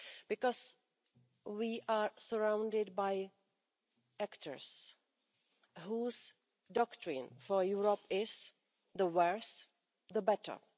because we are surrounded by actors whose doctrine for Europe is the worse, the better'.